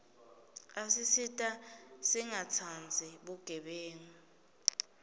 asisita singatsandzi bugebengu